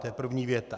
To je první věta.